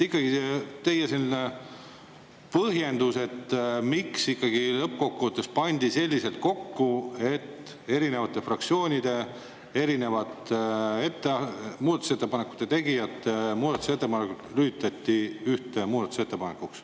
Ikkagi palun teie põhjendust, miks lõppkokkuvõttes pandi erinevate fraktsioonide ja teiste muudatusettepanekute tegijate muudatusettepanekud kokku üheks muudatusettepanekuks.